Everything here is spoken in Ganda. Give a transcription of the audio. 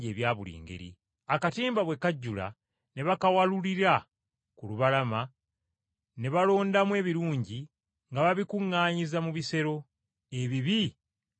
akatimba bwe kajjula ne bakawalulira ku lubalama ne balondamu ebirungi nga babikuŋŋaanyiza mu bisero, ebibi nga babisuula.